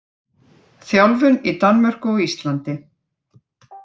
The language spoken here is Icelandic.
Þjálfun í Danmörku og Íslandi.